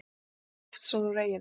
Einar Loftsson úr eyjunni.